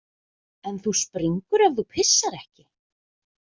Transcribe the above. En þú springur ef þú pissar ekki.